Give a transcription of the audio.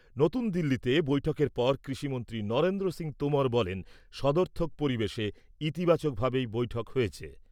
নতুন দিল্লিতে বৈঠকের পর কৃষিমন্ত্রী নরেন্দ্র সিং তোমর বলেন, সদর্থক পরিবেশে, ইতিবাচকভাবেই বৈঠক হয়েছে।